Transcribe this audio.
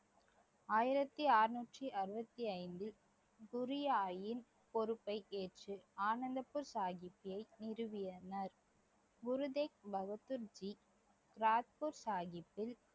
ஆயிரத்தி அறுநூற்றி அறுபத்தி ஐந்தில் பொறுப்பை ஏற்று ஆனந்த்பூர் நிறுவியனர் குரு தேக் பகதூர்ஜி ராத்பூர் சாஹிப்பில்